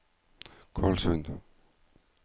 Kvalsund